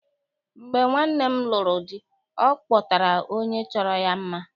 Mgbe nwanne m lụrụ di, ọ kpọtara onye chọrọ ya mma.